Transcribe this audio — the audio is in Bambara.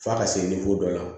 F'a ka se dɔ la